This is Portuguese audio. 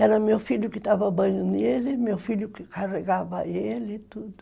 Era meu filho que estava banhando ele, meu filho que carregava ele e tudo.